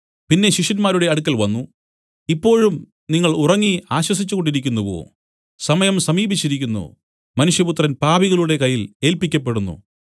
പിന്നെ ശിഷ്യന്മാരുടെ അടുക്കൽ വന്നു ഇപ്പോഴും നിങ്ങൾ ഉറങ്ങി ആശ്വസിച്ചു കൊണ്ടിരിക്കുന്നുവോ സമയം സമീപിച്ചിരിക്കുന്നു മനുഷ്യപുത്രൻ പാപികളുടെ കയ്യിൽ ഏല്പിക്കപ്പെടുന്നു